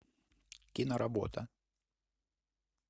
киноработа